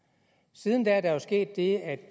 siden da er der sket det at